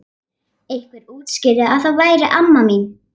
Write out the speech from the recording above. Einhver útskýrði að þetta væri amma mín.